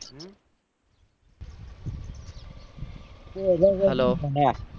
hello